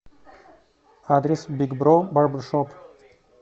адрес биг бро барбершоп